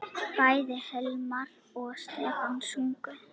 Bæði Hilmar og Stefán sungu.